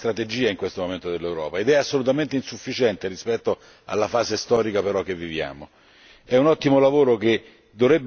La crescita blu è una strategia in questo momento dell'Europa ed è però assolutamente insufficiente rispetto alla fase storica in cui viviamo.